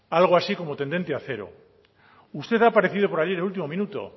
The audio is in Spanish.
algo así como tendente a cero usted ha aparecido por allí en el último minuto